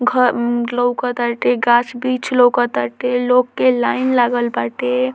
घर मम लोका ताटे गाछ-बिछ लोका ताटे लोग के लाइन लागल बाटे।